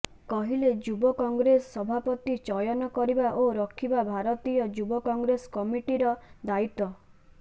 କହିଲେ ଯୁବ କଂଗ୍ରେସ ସଭାପତି ଚୟନ କରିବା ଓ ରଖିବା ଭାରତୀୟ ଯୁବ କଂଗ୍ରେସ କମିଟିର ଦାୟିତ୍ୱ